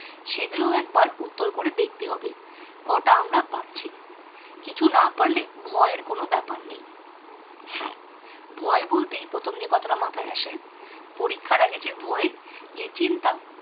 সেগুল একবার উত্তর করে দেখতে হবে। কটা আমরা পারছি। কিছু না পারলে ভয়ের কোনও ব্যাপার নেই। হ্যাঁ ভয় বলতেই প্রথমে যে কথাটা মাথায় আসে পরীক্ষার আগে সে ভয় যে চিন্তা